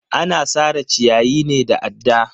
Ana sare ciyayi ne da adda.